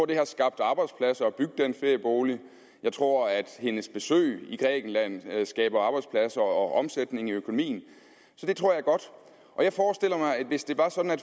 det har skabt arbejdspladser at bygge den feriebolig jeg tror at hendes besøg i grækenland skaber arbejdspladser og omsætning i økonomien så det tror jeg og jeg forestiller mig at hvis det var sådan at